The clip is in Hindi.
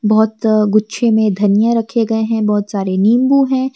बहोत गुच्छे में धनिया रखे गए हैं बहोत सारे नींबू है।